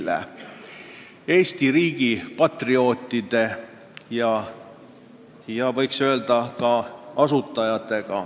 Need olid Eesti riigi patrioodid ja võiks öelda, ka asutajad.